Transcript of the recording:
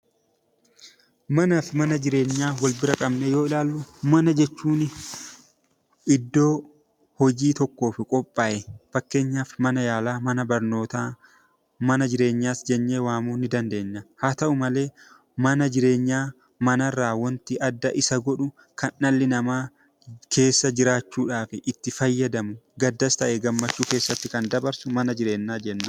Manaa fi mana jireenyaa wal bira qabnee yoo ilaallu, mana jechuuni iddoo hojii tokkoof qophaa'e fakkeenyaaf mana yaalaa, mana barnootaa, mana jireenyaas jennee waamuu ni dandeenya. Haa ta'u malee, mana jireenyaa mana irraa waanti adda isa godhu kan dhalli namaa keessa jiraachuudhaaf itti fayyadamu gaddas ta'e gammachuu keessatti kan dabarsu mana jireenyaa jenna.